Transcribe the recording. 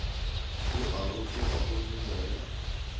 o a rotoga gomme moya